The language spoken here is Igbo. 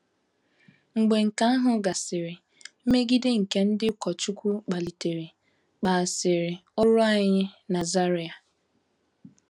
Mgbe nke ahụ gasịrị, mmegide nke ndị ụkọchukwu kpalitere kpaghasịrị ọrụ anyị na Zaire.